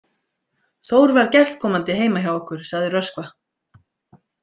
Þór var gestkomandi heima hjá okkur, sagði Röskva.